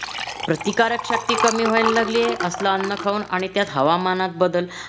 प्रतिकारक शक्ती कमी व्हायला लागलीये असलं अन्न खाऊन आणि त्यात हवामानात बदल